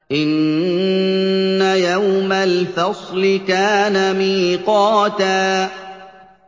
إِنَّ يَوْمَ الْفَصْلِ كَانَ مِيقَاتًا